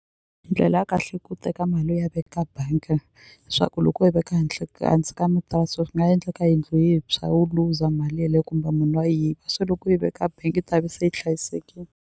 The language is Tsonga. Ndlela ya kahle ku teka mali ya veka bank-e swa ku loko u yi veka hansi ka swi nga endleka yindlu yi tshwa u luza mali yeleyo kumbe munhu a se loko u yi veka bank-i yi ta ve se yi hlayisekini.